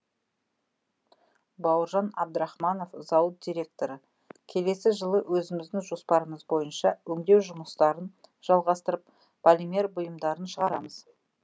бауыржан әбдірахманов зауыт директоры келесі жылы өзіміздің жоспарымыз бойынша өңдеу жұмыстарын жалғастырып полимер бұйымдарын шығарамыз